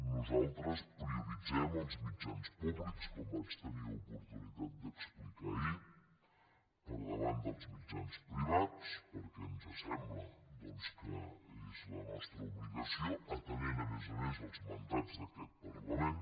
nosaltres prioritzem els mit·jans públics com vaig tenir oportunitat d’explicar ahir per davant dels mitjans privats perquè ens sem·bla doncs que és la nostra obligació atenent a més a més els mandats d’aquest parlament